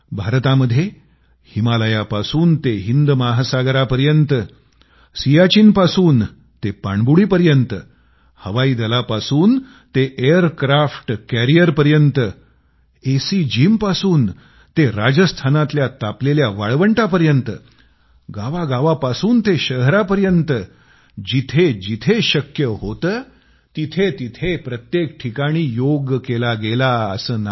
भारतामध्ये हिमालयापासून ते हिंद महासागरापर्यंत सियाचिनपासून ते पाणीबुडीपर्यंत हवाई दलापासून ते एअर क्राफ्टकॅरियरपर्यंत एसी जिमपासून ते राजस्थानातल्या तापलेल्या वाळवंटापर्यंत गांवांपासून ते शहरांपर्यंत जिथं जिथं शक्य होते तिथं तिथं प्रत्येक ठिकाणी फक्त योग केला असं नाही